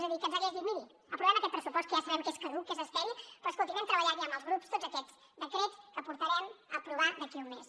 és a dir que ens hagués dit miri aprovem aquest pressupost que ja sabem que és caduc que és estèril però escolti’m hem treballat ja amb els grups tots aquests decrets que portarem a aprovar d’aquí un mes